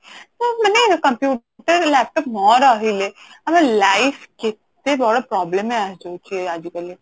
ତ ମାନେ computer laptop ନ ରହିଲେ ଆମ life କେତେ ବଡ problem ରେ ଆସି ଯାଉଛି ଆଜିକାଲି